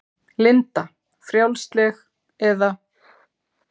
Linda: Frjálsleg, eða?